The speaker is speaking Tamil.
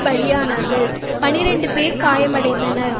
பலியானார்கள் பன்னிரண்டு பேர் காயமடைந்தனர்